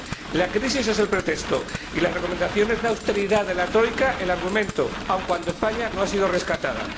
La crisis es el pretexto y las recomendaciones de austeridad de la el argumento, aun cuando España no ha sido rescatada.